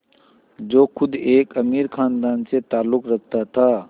जो ख़ुद एक अमीर ख़ानदान से ताल्लुक़ रखता था